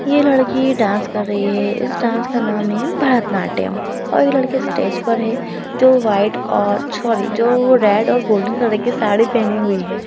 ये लड़की डांस कर रही है इस डांस का नाम है भरतनाट्यम और ये लड़की स्टेज पर है जो वाइट और सॉरी जो रेड और गोल्डेन कलर की साड़ी पहनी हुई है।